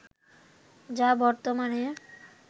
যা বর্তমানে